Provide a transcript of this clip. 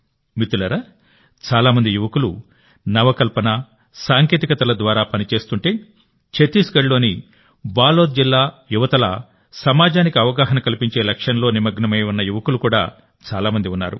మిత్రులారాచాలా మంది యువకులు నవకల్పన సాంకేతికతల ద్వారా పని చేస్తుంటే ఛత్తీస్గఢ్లోని బాలోద్ జిల్లా యువతలా సమాజానికి అవగాహన కల్పించే లక్ష్యంలో నిమగ్నమై ఉన్న యువకులు కూడా చాలా మంది ఉన్నారు